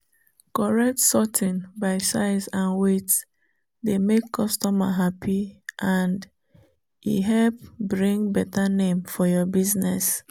correct sorting by size and wieght dey make customer happy and e help bring better name for your business.